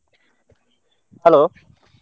Hello.